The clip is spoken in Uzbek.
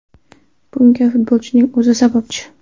Bunga futbolchining o‘zi sababchi.